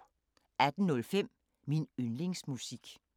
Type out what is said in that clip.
18:05: Min yndlingsmusik